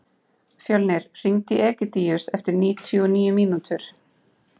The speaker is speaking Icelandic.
Fjölnir, hringdu í Egidíus eftir níutíu og níu mínútur.